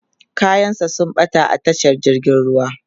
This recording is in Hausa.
kayan sa sun ɓata a tashar jirgin ruwa